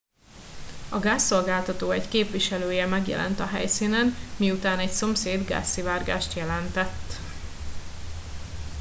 a gázszolgáltató egy képviselője megjelent a helyszínen miután egy szomszéd gázszivárgást jelentett